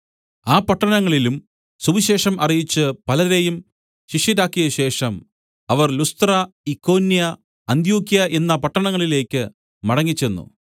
ആ പട്ടണങ്ങളിലും സുവിശേഷം അറിയിച്ച് പലരെയും ശിഷ്യരാക്കിയശേഷം അവർ ലുസ്ത്ര ഇക്കോന്യ അന്ത്യൊക്യ എന്ന പട്ടണങ്ങളിലേക്ക് മടങ്ങിച്ചെന്നു